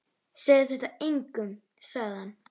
Segðu þetta engum sagði hann.